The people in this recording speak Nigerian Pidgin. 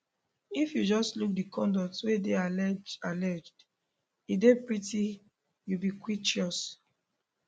if you just look di conduct wey dey alleged alleged e dey pretty ubiquitous